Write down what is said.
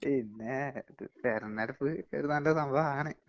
പിന്നേ...തെരെഞ്ഞെടുപ്പ് ഒരു നല്ല സംഭവമാണ്.